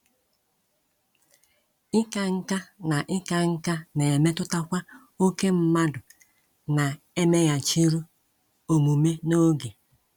Ịka nká na Ịka nká na - emetụtakwa ókè mmadụ na - emeghachiru omume n’oge.